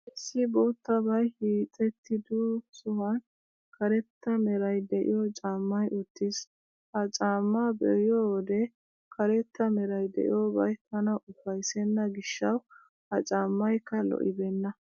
Issi boottabay hiixettido sohuwan karetta meray de'iyoo caammay uttiis. Ha caammaa be'iyoo wode karetta meray de'iyoobay tana ufayssenna gishshawu, ha caammaykka lo'ibeenna.